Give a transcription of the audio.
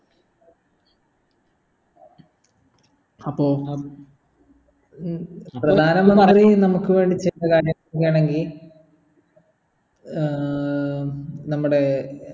അപ്പൊ അഹ് പ്രധാന മന്ത്രി നമുക്ക് വേണ്ടി ചില കാര്യം ചെയ്യാണെങ്കി ആഹ് നമ്മുടെ